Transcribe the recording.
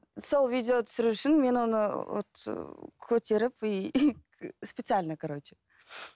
сол видео түсіру үшін мен оны вот көтеріп и специально короче